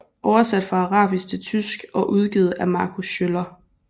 Oversat fra arabisk til tysk og udgivet af Marco Schöller